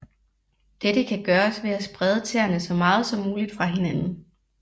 Dette kan gøres ved at sprede tæerne så meget som muligt fra hinanden